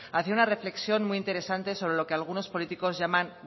hacia una reflexión muy interesante sobre lo que algunos políticos llaman